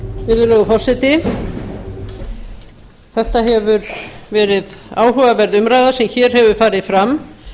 virðulegur forseti þetta hefur verið áhugaverð umræða sem hér hefur farið fram